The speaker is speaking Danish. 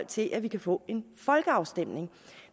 til at vi kan få en folkeafstemning